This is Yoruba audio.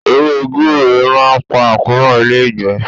Ewé gbure máa ń pa àkóràn ilé-ìgbẹ́.